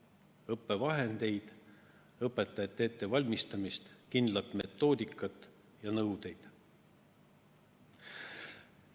õppevahendeid, õpetajate ettevalmistamist, kindlat metoodikat ja nõudeid?